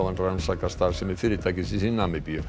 rannsakar starfsemi fyrirtækisins í Namibíu